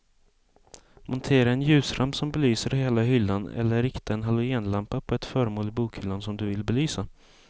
Montera en ljusramp som belyser hela hyllan eller rikta en halogenlampa på ett föremål i bokhyllan som du vill belysa.